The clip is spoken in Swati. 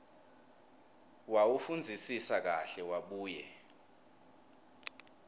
wawufundzisisa kahle wabuye